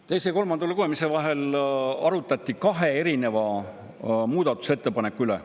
Teise ja kolmanda lugemise vahel arutati kahe muudatusettepaneku üle.